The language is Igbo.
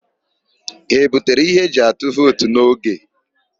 Ha ebutere ihe eji atụ vootu n'oge?